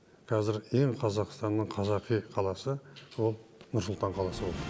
қазір ең қазақстанның қазақи қаласы ол нұр сұлтан қаласы болды